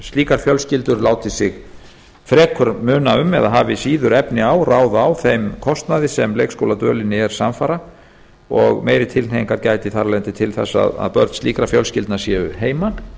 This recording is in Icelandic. slíkar fjölskyldur láti sig frekar muna um eða hafi síður ráð á þeim þeim kostnaði sem leikskóladvölinni er samfara og meiri tilhneigingar gæti þar af leiðandi til þess að börn slíkra fjölskyldna séu heima